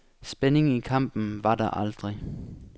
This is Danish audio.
Spænding i kampen var der aldrig.